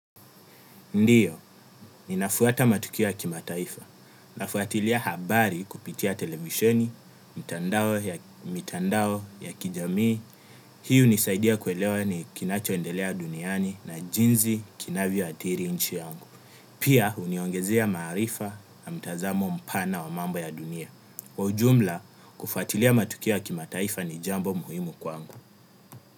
Ndio, ninafuata matukio ya kimataifa, nafuatilia habari kupitia televisheni, mitandao ya kijamii, hii hunisaidia kuelewa ni kinachoendelea duniani na jinsi kinavyo athiri nchi yangu. Pia, huniongezea maarifa na mtazamo mpana wa mambo ya dunia. Kwa ujumla, kufuatilia matukio ya kimataifa ni jambo muhimu kwangu.